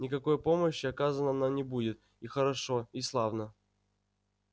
никакой помощи оказано нам не будет и хорошо и славно